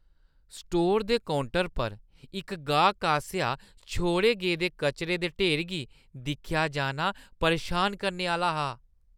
स्टोरै दे काउंटर पर इक गाह्कै आसेआ छोड़े गेदे कचरे दे ढेर गी दिक्खेआ जाना परेशान करने आह्‌ला हा।